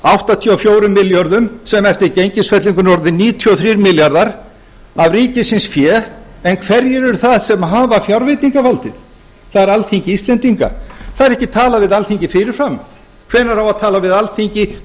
áttatíu og fjórum milljörðum sem eftir gengisfellinguna eru orðnir níutíu og þrír milljarðar af ríkisins fé en hverjir eru það sem hafa fjárveitingavaldið það er alþingi íslendinga það er ekki talað við alþingi fyrirfram hvenær á að tala við alþingi